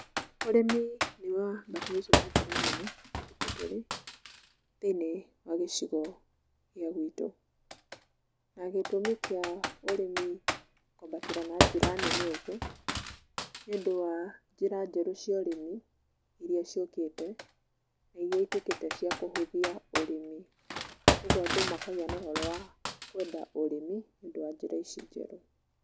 Ũrĩmi nĩ wambatĩrĩte na njĩra nene matukũ tũrĩ thĩiniĩ wa gĩcigo gĩa gwitũ, na gĩtũmi kĩa ũrĩmi kwambatĩra na njĩra nene ũgũo nĩũndũ wa njĩra njerũ cia ũrĩmi irĩa ciũkĩte na irĩa ituĩkĩte cia kũhũthia ũrĩmi kogwo andũ makagĩa na ũhoro wa kũenda ũrĩmi nĩũndũ wa njĩra ici njerũ.